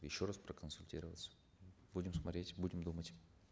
еще раз проконсультироваться будем смотреть будем думать